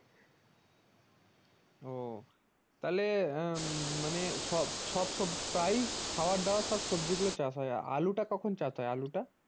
ও তাহলে আহ উম মানে সব সব সবজি প্রায়ই খাওয়ার দাওয়ার সব সবজি গুলা চাষ হয় আলুটা কখন চাষ হয় আলুটা ।